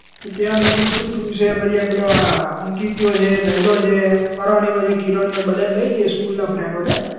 તો ત્યાં અમે બધું શું તું છે પછી આ પેલો આ અંકીત્યો છે જયલો છે કરણીયો છે કીરણીયો છે બધાને લઇ જઈએ school ના friend ઓને